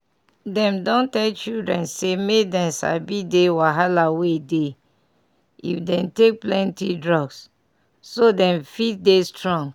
dem don tell chilidren say make dem sabi dey wahala wey dey if dem take plenty drugs so dem fit dey strong.